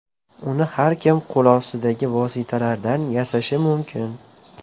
Uni har kim qo‘lostidagi vositalardan yasashi mumkin.